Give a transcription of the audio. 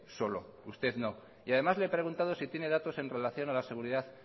solo usted no y además le he preguntado si tiene datos en relación a la seguridad